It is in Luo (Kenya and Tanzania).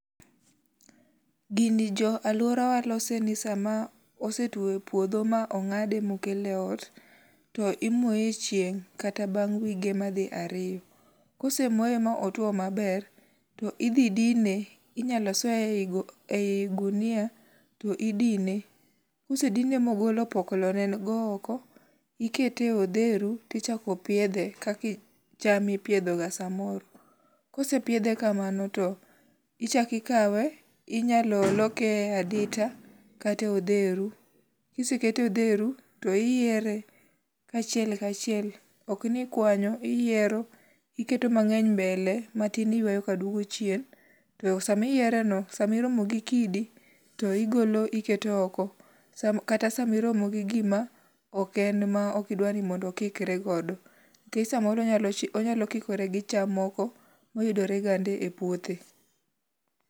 Gini jo alworawa lose ni sama osetwo e podho ma ong'ade ma okele ot, to imore e chieng' kata bang' wige madhi ariyo. Kosemoye ma otwo maber to idhi dine. Inyalo soye ei e gunia to idine. Kosedine ma ogolo opoklo ne go oko, ikete e odheru to ichako piedhe, kaka cham ipiedho ga samoro. Ka osepidhe kamano to ichak ikawe, inyalo loke e adita, kata e odheru. Ka isekete e odheru to iyere kachiel ka achiel. Ok ni kwanyo, iyiero, iketo mangény mbele, matin iywayo ka duogo chien, to sama iyere no, sama iromo gi kidi to igolo iketo oko. Kata sama iromo gi gima oken ma okidwa ni mondo okikre godo, nikech samoro onyalo onyalo kikore gi cham moko mayudoregande e puothe.